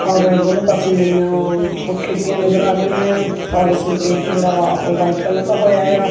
ਔਰ ਦੋਨੋਂ ਪਾਸੇ ਜਿਹੜੀਆਂ ਵਾ ਉਹ ਖਿੜਕੀਆਂ ਨਜ਼ਰ ਆ ਰਹੀਆਂ ਆ ਔਰ ਇਸ ਨੂੰ ਪੇਂਟ ਆ।